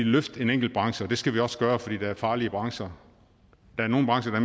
løfte en enkelt branche og det skal vi også gøre for der er farlige brancher der er nogle brancher